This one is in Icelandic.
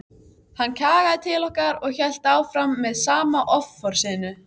Hann kjagaði til okkar og hélt áfram með sama offorsinu.